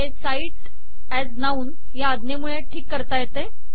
हे cite as noun या अज्ञेमूळे ठीक करता येते